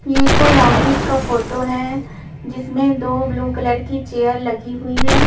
ये कोई ऑफिस का फोटो है जिसमें दो ब्लू कलर की चेयर लगी हुई है।